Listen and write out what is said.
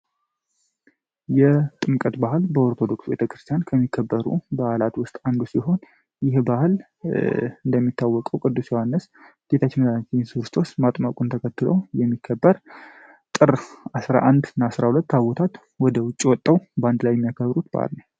የጥምቀት በዓል በኦርቶዶክስ ቤተክርስቲያን ከሚከበሩ በአላት ውስጥ አንዱ ይህ ባህል እንደሚታወቀው ቅዱስ ዮሃንስ ጌታችን ተከትለው የሚከበር ጥር 11 እና 12 ቦታ ወደ ውጪ ወጥተው በአንድ ላይ የሚያከብሩት በአል ነው።